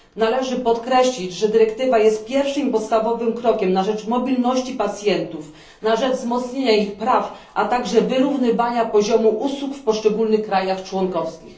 Należy podkreślić, że dyrektywa jest pierwszym i podstawowym krokiem na rzecz mobilności pacjentów, na rzecz wzmocnienia ich praw, a także wyrównywania poziomu usług w poszczególnych krajach członkowskich.